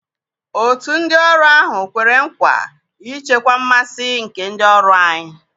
Otu ndị ọrụ ahụ kwere nkwa ichekwa mmasị nke ndị ọrụ anyị.